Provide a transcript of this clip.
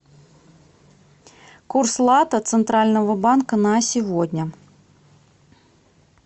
курс лата центрального банка на сегодня